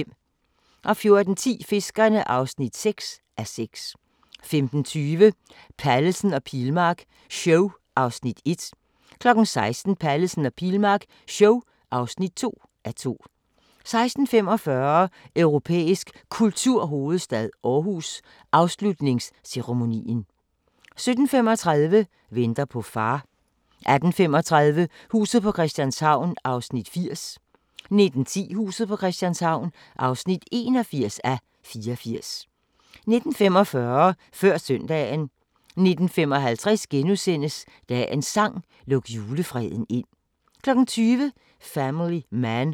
14:10: Fiskerne (6:6) 15:20: Pallesen og Pilmark show (1:2) 16:00: Pallesen og Pilmark show (2:2) 16:45: Europæisk Kulturhovedstad Aarhus – Afslutningsceremonien 17:35: Venter på far 18:35: Huset på Christianshavn (80:84) 19:10: Huset på Christianshavn (81:84) 19:45: Før søndagen 19:55: Dagens sang: Luk julefreden ind * 20:00: Family Man